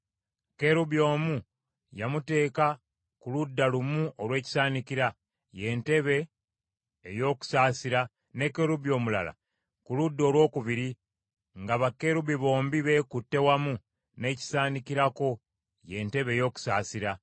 Kerubi omu yamuteeka ku ludda lumu olw’ekisaanikira, ye ntebe ey’okusaasira, ne kerubi omulala ku ludda olwokubiri, nga bakerubi bombi beekutte wamu n’ekisaanikirako, ye ntebe ey’okusaasira.